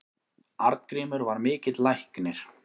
Arngrímur var mikill læknir.